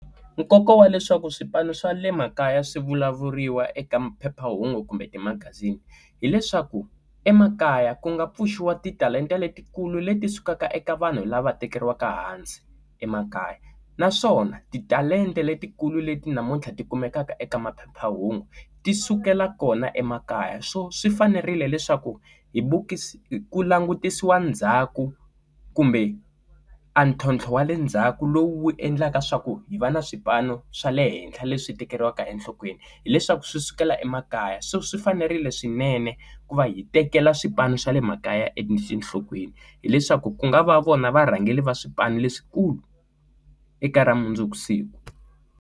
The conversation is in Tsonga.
Nkoka wa leswaku swipano swa le makaya swi vulavuriwa eka phephahungu kumbe timagazini hileswaku emakaya ku nga pfuxiwa ti talenta letikulu leti sukaka eka vanhu lava tekeriwaka hansi emakaya naswona ti talenta letikulu leti namuntlha tikumekaka eka maphephahungu ti sukela kona emakaya so swi fanerile leswaku hi vukisi ku langutisisiwa ndzhaku kumbe a ntlhontlho wa le ndzhaku lowu endlaka swa ku hi va na swipano swa le henhla leswi tekeriwaka enhlokweni hileswaku swi sukela emakaya so swi fanerile swinene ku va hi tekela swipano swa le makaya etinhlokweni hileswaku ku nga va vona varhangeri va swipanu leswikulu eka ra mundzuku siku.